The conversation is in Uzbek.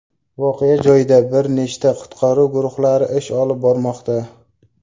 Voqea joyida bir nechta qutqaruv guruhlari ish olib bormoqda.